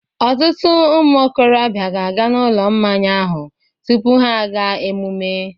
Ọtụtụ ụmụ okorobịa ga-aga na Ụlọ Mmanya ahụ tupu ha aga emume